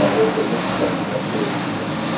Bağa olub və təhqir olunmuşuq.